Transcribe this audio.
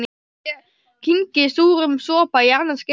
Ég kyngi súrum sopa í annað skipti.